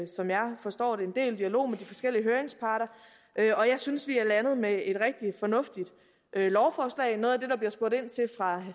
som jeg forstår det en del dialog med de forskellige høringsparter og jeg synes vi er landet med et rigtig fornuftigt lovforslag noget af det der bliver spurgt ind til fra